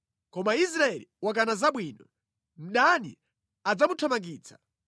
Koma Israeli wakana zabwino; mdani adzamuthamangitsa.